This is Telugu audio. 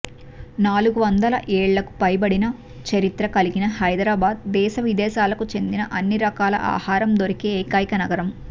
నాలుగు వందల ఏళ్లకు పైబడిన చరిత్ర కలిగిన హైదరాబాద్ దేశవిదేశాలకు చెందిన అన్ని రకాల ఆహారం దొరికే ఏకైక నగరం